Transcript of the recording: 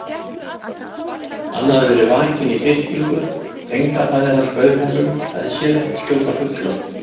Hann hafði verið vakinn í birtingu: tengdafaðir hans bauð honum með sér að skjóta fugla.